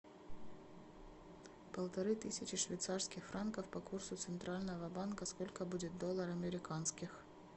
полторы тысячи швейцарских франков по курсу центрального банка сколько будет доллар американских